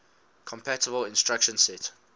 compatible instruction set